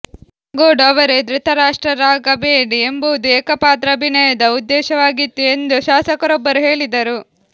ಕಾಗೋಡು ಅವರೇ ಧೃತರಾಷ್ಟ್ರರಾಗಬೇಡಿ ಎಂಬುದು ಏಕಪಾತ್ರಾಭಿನಯದ ಉದ್ದೇಶವಾಗಿತ್ತು ಎಂದು ಶಾಸಕರೊಬ್ಬರು ಹೇಳಿದರು